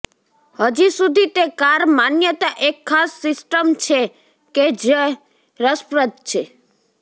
હજી સુધી તે કાર માન્યતા એક ખાસ સિસ્ટમ છે કે જ રસપ્રદ છે